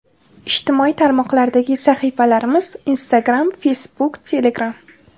Ijtimoiy tarmoqlardagi sahifalarimiz: Instagram Facebook Telegram !